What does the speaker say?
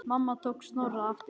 Mamma tók Snorra aftur.